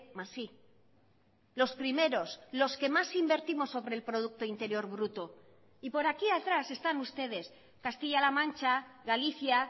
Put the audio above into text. más i los primeros los que más invertimos sobre el producto interior bruto y por aquí atrás están ustedes castilla la mancha galicia